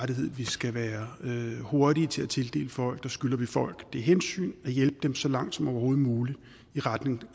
rettighed vi skal være hurtige til at tildele folk der skylder vi folk det hensyn at hjælpe dem så langt som overhovedet muligt i retning